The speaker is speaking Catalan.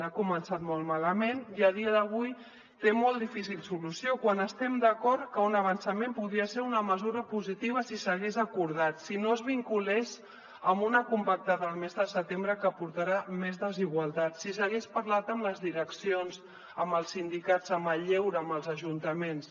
ha començat molt malament i a dia d’avui té molt difícil solució quan estem d’acord que un avançament podria ser una mesura positiva si s’hagués acordat si no es vinculés amb una compactada el mes de setembre que portarà més desigualtats si s’hagués parlat amb les direccions amb els sindicats amb el lleure amb els ajuntaments